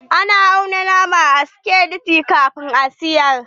Ana auna nama a sikeli kafin a siyar.